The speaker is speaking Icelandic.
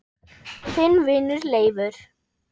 Þinn vinur Leifur.